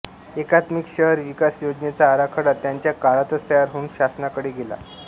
एकात्मिक शहर विकास योजनेचा आराखडा त्यांच्या काळातच तयार होऊन शासनाकडे गेला